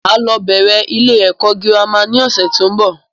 Máa lọ bẹ̀rẹ̀ ilé ẹ̀kọ́ girama ni ọ̀sẹ̀ tó ń bọ̀